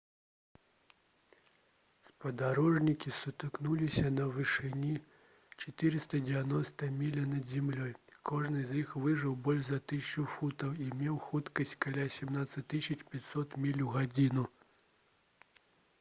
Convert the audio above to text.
спадарожнікі сутыкнуліся на вышыні 491 міля над зямлёй кожны з іх важыў больш за 1000 фунтаў і меў хуткасць каля 17 500 міль у гадзіну